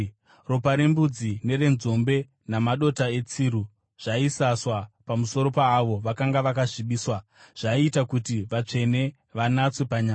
Ropa rembudzi nerenzombe namadota etsiru zvaisaswa pamusoro paavo vakanga vakasvibiswa, zvaiita kuti vatsvene vanatswe panyama.